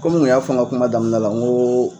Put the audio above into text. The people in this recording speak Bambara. Kɔmi n kun y'a fɔ n ka kuma daminɛ la n ko